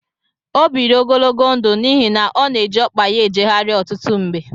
O biri ogologo ndụ n'ihi na ọ na eji ọkpa ya ejegharị ọtụtụ mgbe.